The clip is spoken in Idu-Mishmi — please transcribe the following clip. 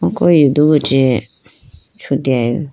ko yudugu chee chuteyi bo.